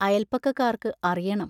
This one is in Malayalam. അയൽപക്കക്കാർക്ക് അറിയണം!